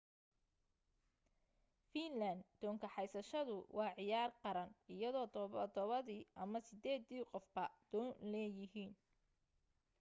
fiinlaan doon kaxaysashadu waa ciyaar qaran iyadoo todobadii ama sideedii qofba doon leeyihiin